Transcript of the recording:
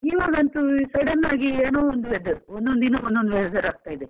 ಇವಗಂತೂ sudden ಆಗಿ ಏನೋ. ಒಂದ್ weather . ಒಂದೊಂದು ದಿನ ಒಂದೊಂದು weather ಆಗ್ತಾ ಇದೆ.